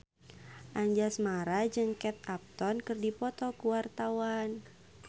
Anjasmara jeung Kate Upton keur dipoto ku wartawan